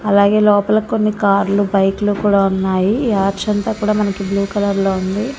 అలాగే లోపల కొన్ని కార్లు బైకులు కూడా ఉన్నాయి ఈ ఆర్చీ అంత కూడా మనకి బ్లూ కలర్ లో ఉంది.